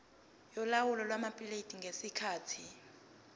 yolawulo lwamaphikethi ngesikhathi